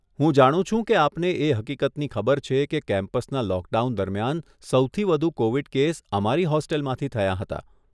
હું જાણું છું કે આપને એ હકીકતની ખબર છે કે કેમ્પસના લોકડાઉન દરમિયાન, સૌથી વધુ કોવીડ કેસ અમારી હોસ્ટેલમાંથી થયાં હતાં.